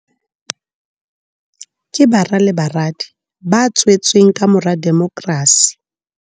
Ke bara le baradi ba tswe tsweng kamora demokrasi.